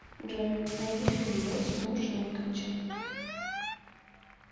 джой найди фильм лед с миушем миквичем